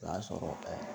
O y'a sɔrɔ